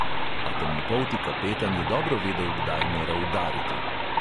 A temnopolti kapetan je dobro vedel, kdaj mora "udariti".